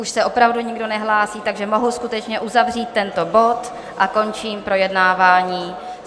Už se opravdu nikdo nehlásí, takže mohu skutečně uzavřít tento bod a končím projednávání.